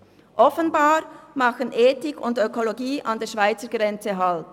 Offenbar machen Ethik und Ökologie an der Schweizer Grenze Halt.